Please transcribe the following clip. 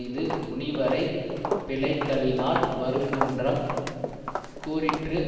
இது முனிவரைப் பிழைத்தலினால் வருங்குன்றம் கூறிற்று